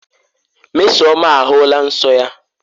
Mmesoma ahụla nsọ ya.